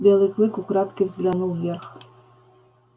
белый клык украдкой взглянул вверх